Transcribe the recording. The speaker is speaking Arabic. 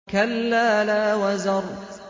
كَلَّا لَا وَزَرَ